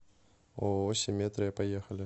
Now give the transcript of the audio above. ооо симметрия поехали